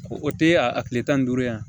O tɛ a tile tan ni duuru yan